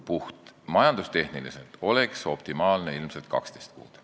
Puhtalt majandustehniliselt oleks optimaalne ilmselt 12 kuud.